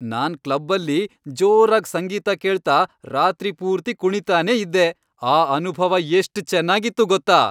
ನಾನ್ ಕ್ಲಬ್ಬಲ್ಲಿ ಜೋರಾಗ್ ಸಂಗೀತ ಕೇಳ್ತಾ ರಾತ್ರಿ ಪೂರ್ತಿ ಕುಣೀತಾನೇ ಇದ್ದೆ. ಆ ಅನುಭವ ಎಷ್ಟ್ ಚೆನ್ನಾಗಿತ್ತು ಗೊತ್ತಾ!